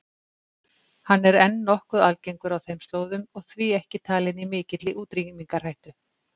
Hann er enn nokkuð algengur á þeim slóðum og því ekki talinn í mikilli útrýmingarhættu.